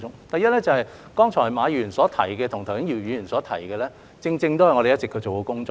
第一，剛才馬議員提及的，以及剛才姚議員提及的，正正是我們一直做的工作。